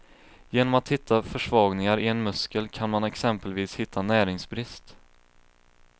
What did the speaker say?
Genom att hitta försvagningar i en muskel kan man exempelvis hitta näringsbrist.